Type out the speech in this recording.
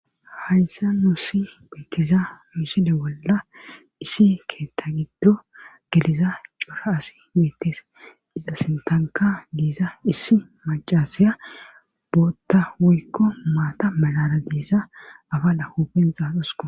hayssa nusi beettiza misile bolla issi keetta giddo geliza cora asi bettes iza sintanka diza issi macasaya bootta wuykko maata malara diza aba la huupen xaaxusko